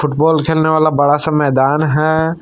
Football खेलने वाला बड़ा सा मैदान है।